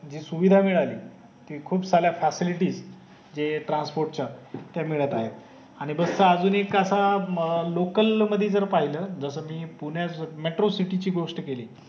जी सुविधा मिळाली ती खूप साऱ्या facility जे transport च मिळत आहे आणि बस चा अजून एक असा अं लोकल मधी जर पाहिलं जस मी पुण्यात metro city ची गोस्ट केली